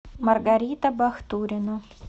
маргарита бахтурина